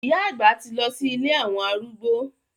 Ìyá àgbà ti lọ sí ilé àwọn arúgbó.